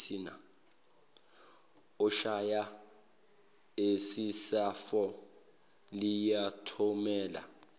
oshaya isisefo liyothumela